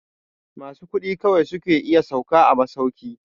Masu kuɗi kawai su ke iya sauka a masauki.